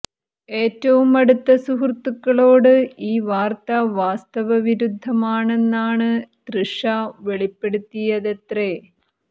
ഏറ്റവും അടുത്ത സുഹൃത്തുക്കളോട് ഈ വാര്ത്ത വാസ്തവവിരുദ്ധമാണെന്നാണ് തൃഷ വെളിപ്പെടുത്തിയതത്രെ